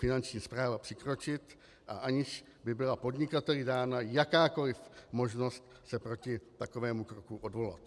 Finanční správa přikročit, a aniž by byla podnikateli dána jakákoli možnost se proti takovému kroku odvolat.